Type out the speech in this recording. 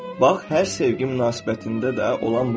Bax, hər sevgi münasibətində də olan budur.